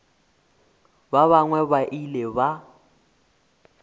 ba bangwe ba ile ba